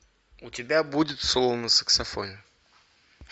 у тебя будет соло на саксофоне